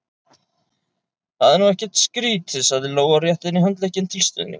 Það er nú ekkert skrítið, sagði Lóa og rétti henni handlegginn til stuðnings.